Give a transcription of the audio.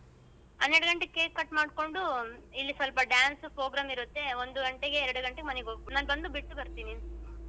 ಹನ್ನೆರಗಂಟೆಗೆ cake cut ಮಾಡ್ಕೊಂಡು ಇಲ್ಲಿ ಸ್ವಲ್ಪ dance program ಇರುತ್ತೆ ಒಂದ್ಗಂಟೆ ಎರ್ಡಗಂಟೆಗೆ ಮನೆಗೆ ಹೋಗ್ಬಹುದು ನಾನ್ ಬಂದು ಬಿಟ್ಟುಬರ್ತೆನೆ.